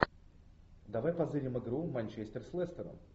давай позырим игру манчестер с лестером